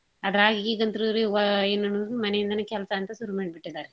ಅದ್ರಾಗ್ ಈಗ ಅಂತ್ರುರಿ ಹೊ~ ಏನ್ ಅನ್ನೋದು ಮನೆ ಇಂದನೇ ಕೆಲ್ಸ ಅಂತ ಸುರುಮಾಡ್ಬಿಟ್ಟಿದಾರಿ.